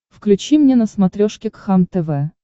включи мне на смотрешке кхлм тв